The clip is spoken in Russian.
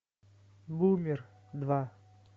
бумер два